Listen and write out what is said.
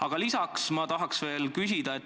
Aga lisaks ma tahan küsida selle kohta.